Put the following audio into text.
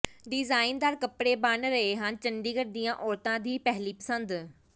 ਡਿਜ਼ਾਈਨਦਾਰ ਕਪੜੇ ਬਣ ਰਹੇ ਹਨ ਚੰਡੀਗੜ੍ਹ ਦੀਆਂ ਔਰਤਾਂ ਦੀ ਪਹਿਲੀ ਪਸੰਦ